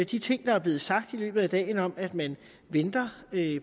de ting der er blevet sagt i løbet af dagen om at man venter